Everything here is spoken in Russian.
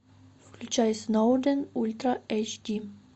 включай сноуден ультра эйч ди